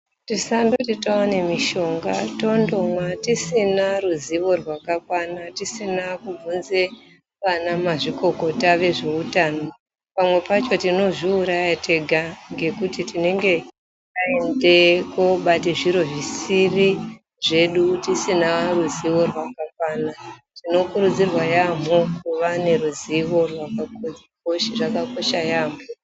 Tisandoti taona mishonga tondomwa risina ruzivo rwakakwana tisina kubvunza vana mazvikokota vezveutano pamwe pacho tinozviuraya tega ngekuti tinenge taende kobata zviro zvisiri zvedu tisina ruzivo rwakakwana tinokurudzirwa yaamho kuva neruzivo rwakakwana rwakakoshera yaamho.